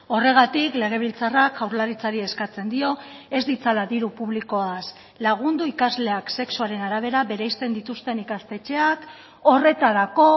horregatik legebiltzarrak jaurlaritzari eskatzen dio ez ditzala diru publikoaz lagundu ikasleak sexuaren arabera bereizten dituzten ikastetxeak horretarako